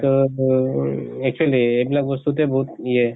actually আইবিলাক বস্তুতে বহুত ইয়ে